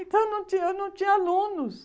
Então não tinha, eu não tinha alunos.